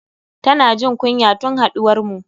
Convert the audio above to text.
Tana jin kunya tun haduwarmu.